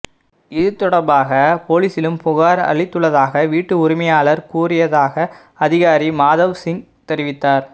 இது தொடர்பாக போலீஸிலும் புகார் அளித்துள்ளதாக வீட்டு உரிமையாளர் கூறியதாக அதிகாரி மாதவ் சிங் தெரிவித்தார்